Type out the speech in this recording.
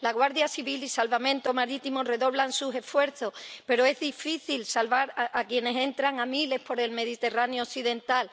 La Guardia Civil y Salvamento Marítimo redoblan sus esfuerzos, pero es difícil salvar a quienes entran a miles por el Mediterráneo occidental.